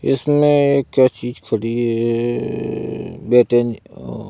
इसमें क्या चीज खड़ी है है है है --